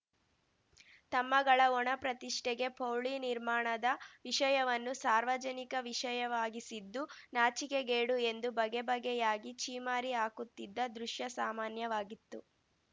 ತಮ್ಮಗಳ ಒಣಪ್ರತಿಷ್ಟೆಗೆ ಪೌಳಿ ನಿರ್ಮಾಣದ ವಿಷಯವನ್ನು ಸಾರ್ವಜನಿಕ ವಿಷಯವಾಗಿಸಿದ್ದು ನಾಚಿಕೆಗೇಡು ಎಂದು ಬಗೆಬಗೆಯಾಗಿ ಛೀಮಾರಿ ಹಾಕುತ್ತಿದ್ದ ದೃಶ್ಯ ಸಾಮಾನ್ಯವಾಗಿತ್ತು